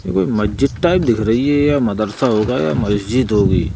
ये कोई मज्जीद टाइप दिख रही है यह मदरसा होगा या मस्जिद होगी।